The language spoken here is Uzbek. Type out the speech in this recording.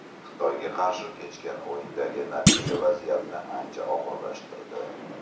Xitoyga qarshi kechgan o‘yindagi natija vaziyatni ancha og‘irlashtirdi.